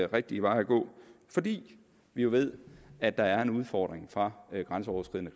rigtige vej at gå fordi vi jo ved at der er en udfordring fra grænseoverskridende